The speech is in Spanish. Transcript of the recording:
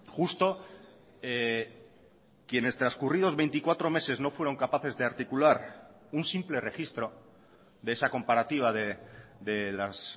justo quienes transcurridos veinticuatro meses no fueron capaces de articular un simple registro de esa comparativa de las